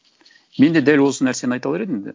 мен де дәл осы нәрсені айта алар едім